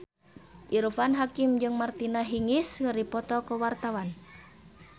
Irfan Hakim jeung Martina Hingis keur dipoto ku wartawan